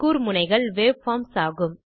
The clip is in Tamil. கூர்முனைகள் வேவ்ஃபார்ம்ஸ் ஆகும்